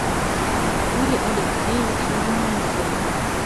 артуре алексеевиче юнусове